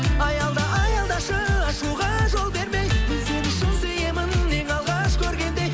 аялда аялдашы ашуға жол бермей мен сені шын сүйемін ең алғаш көргендей